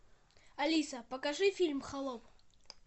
алиса покажи фильм холоп